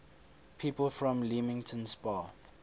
people from leamington spa